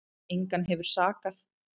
Engan hefur sakað